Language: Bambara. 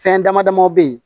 Fɛn dama damaw be yen